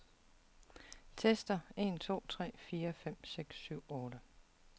Tester en to tre fire fem seks syv otte.